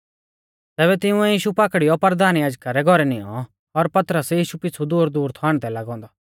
तैबै तिंउऐ यीशु पाकड़ीयौ परधान याजका रै घौरै निऔं और पतरस यीशु पिछ़ु दूरदूर थौ आण्डदै लागौ औन्दौ